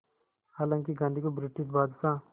हालांकि गांधी को ब्रिटिश बादशाह